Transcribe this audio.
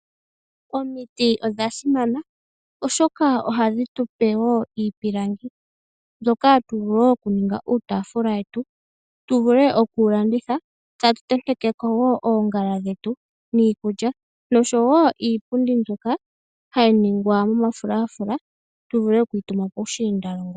Omiti odha simana oshoka ohadhi tupe iipilangi mbyoka hatu vulu okuninga uutaafula wetu , opo tuvule okuwu landitha, tatu tentekeko wo oongala dhetu noshowoo iipundi mbyoka hayi ningwa momafulafula tuvule okuyi tuma puushiindalongo.